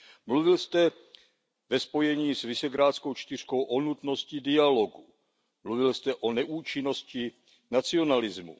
Mluvil jste ve spojení s Visegrádskou čtyřkou o nutnosti dialogu, mluvil jste o neúčinnosti nacionalismu.